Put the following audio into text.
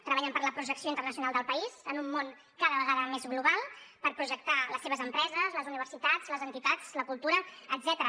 treballen per la projecció internacional del país en un món cada vegada més global per projectar les seves empreses les universitats les entitats la cultura etcètera